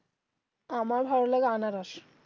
আমার ভালো লাগে আনারস